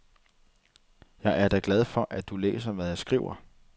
Jeg er da glad for, at du læser, hvad jeg skriver.